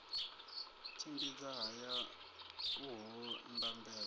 tshimbidza haya u ho ndambedzo